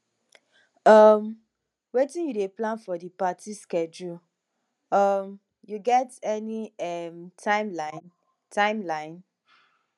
um wetin you dey plan for di party schedule um you get any um timeline timeline